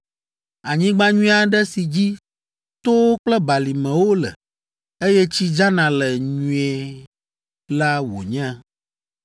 Anyigba nyui aɖe si dzi towo kple balimewo le, eye tsi dzana le nyuie la wònye,